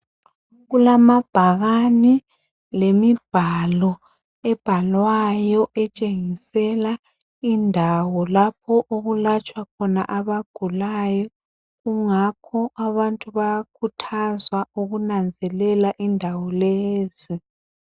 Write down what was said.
Kulamabhakane lemibhalo ebhalwayo etshengisela indawo lapho okulatshwa khona abagulayo kungakho abantu bayakhuthazwa ukunanzelela indawo lezi.